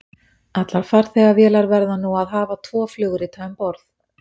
allar farþegavélar verða nú að hafa tvo flugrita um borð